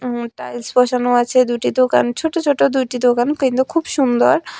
উন টাইলস বসানো আছে দুটি দোকান ছোটো ছোটো দুইটি দোকান কিন্তু খুব সুন্দর।